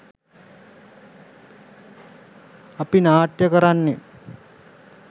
අපි නාට්‍ය කරන්නෙ